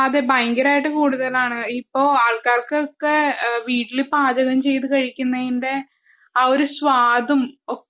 അതെ ഭയങ്കരയിട്ട് കൂടുതലാണ് ഇപ്പം ആളുകൾക്കൊക്കെ വീട്ടിൽ പാചകം ചെയ്തു കഴിക്കുന്നതിന്റെ ആ ഒരു സ്വാദും